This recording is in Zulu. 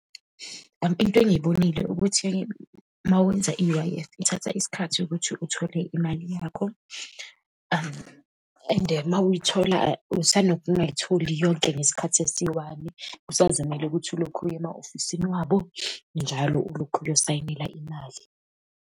Into engiyibonile ukuthi uma wenza i-U_I_F, ithatha isikhathi ukuthi uthole imali yakho, and uma uyithola usanokungayitholi yonke ngesikhathi esiyi-one. Kusazomele ukuthi ulokhu uye ema-ofisini wabo njalo, ulokhu uyosayinela imali.